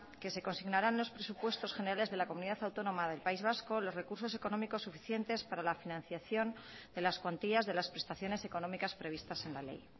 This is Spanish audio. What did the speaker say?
que se consignarán unos presupuestos generales de la comunidad autónoma del país vasco los recursos económicos suficientes para la financiación de las cuantías de las prestaciones económicas previstas en la ley